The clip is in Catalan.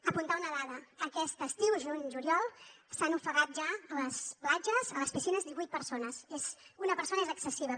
apuntar una dada aquest estiu juny juliol s’han ofegat ja a les platges a les piscines divuit persones una persona és excessiva